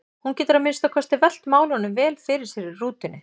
Hún getur að minnsta kosti velt málunum vel fyrir sér í rútunni.